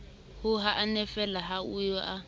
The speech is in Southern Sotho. o hannefeela ha eo a